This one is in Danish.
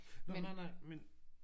Nå nej nej men